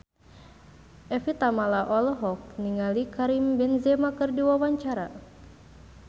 Evie Tamala olohok ningali Karim Benzema keur diwawancara